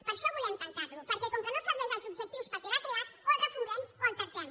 per això volem tancar lo perquè com que no serveix als objectius per als quals va ser creat o el refundem o el tanquem